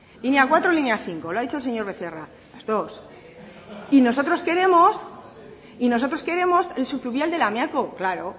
línea cuatro o línea bost lo ha dicho el señor becerra las dos y nosotros queremos el subfluvial de lamiako claro